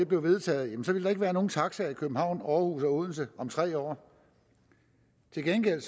blev vedtaget ville der ikke være nogen taxaer i københavn aarhus eller odense om tre år til gengæld